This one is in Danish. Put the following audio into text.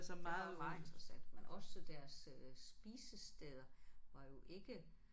Det var var interessant men også deres spisesteder var jo ikke